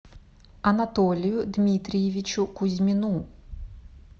анатолию дмитриевичу кузьмину